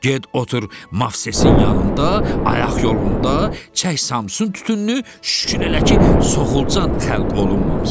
Get otur Məvsesin yanında, ayaq yolunda, çək Samson tütününü, şükür elə ki, soxulcan xəlq olunmamısan.